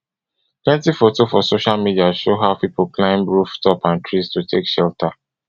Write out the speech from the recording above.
plenty foto for social media show how pipo climb rooftops and trees to take shelter